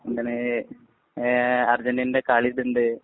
അങ്ങനെ, അര്‍ജന്‍റീനേന്‍റെഉണ്ട്.